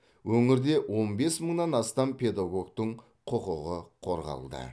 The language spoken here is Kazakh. өңірде он бес мыңнан астам педагогтың құқығы қорғалды